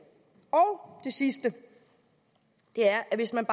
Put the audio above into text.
det sidste er at hvis man